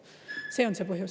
See on see põhjus.